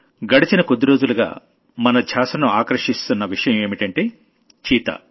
గడచిన కొద్ది రోజులుగా మన ధ్యాసను ఆకర్షిస్తున్న విషయం ఏంటంటే చీతా